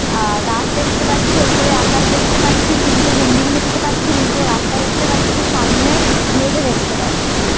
আ --গাছ দেখতে পাচ্ছি ওপরে আকাশ দেখতে পাচ্ছি তিনটে বিল্ডিং দেখতে পাচ্ছি নিচে রাস্তা দেখতে পাচ্ছি সামনে মেঝে দেখতে পাচ্ছি।